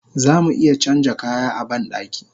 Zamu iya canja kaya a bandaki